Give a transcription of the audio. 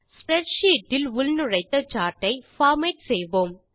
spreadsheet இல் உள்நுழைத்த chart ஐ பார்மேட் செய்வோம்